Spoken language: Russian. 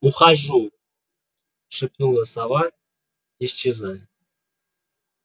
ухожу шепнула сова исчезая